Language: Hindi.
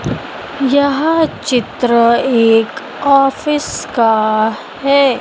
यह चित्र एक ऑफिस का है।